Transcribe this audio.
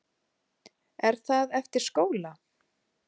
Er það eftir skóla?